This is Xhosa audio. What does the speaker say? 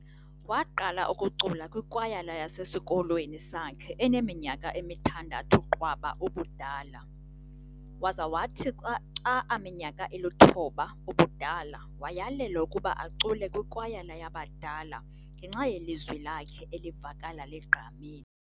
Waqala ukucula kwikwayala yasesikolweni sakhe eneminyaka emithandathu qwaba ubudala, waza wathi xa aminyaka iluthoba ubudala wayalelwa ukuba acule kwikwayala yabadala ngenxa yelizwi lakhe elivakala ligqamile.